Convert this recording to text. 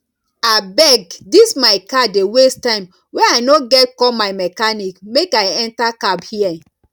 abeg dis my car dey waste time wey i no get call my mechanic make i enter cab here